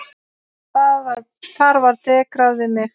Þar var dekrað við mig.